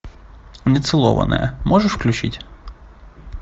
нецелованная можешь включить